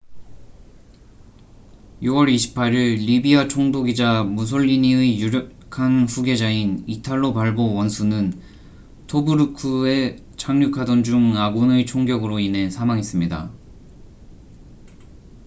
6월 28일 리비아 총독이자 무솔리니의 유력한 후계자인 이탈로 발보 원수는 토브루크에 착륙하던 중 아군의 총격으로 인해 사망했습니다